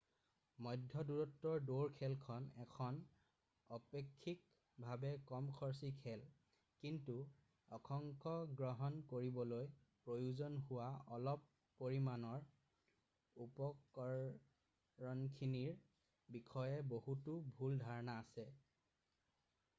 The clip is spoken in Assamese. মধ্য দূৰত্বৰ দৌৰ খেলখন এখন অপেক্ষিকভাৱে কম খৰচী খেল কিন্তু অংশগ্ৰহণ কৰিবলৈ প্ৰয়োজন হোৱা অলপ পৰিমাণৰ উপকৰণখিনিৰ বিষয়ে বহুতো ভুল ধাৰণা আছে